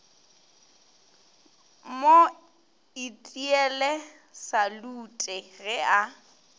mo itiele salute ge a